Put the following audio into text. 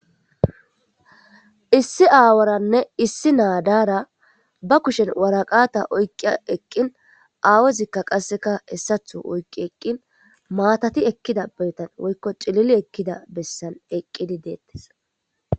Issi aawaranne issi naadaara ba kushen waraqata oyqia eqqin aawezikka qasseka hessatho oykqi eqqin maatati ekkida beetan woykko cilili ekkida bessan eqqidi deettes.